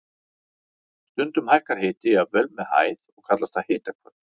Stundum hækkar hiti jafnvel með hæð og kallast það hitahvörf.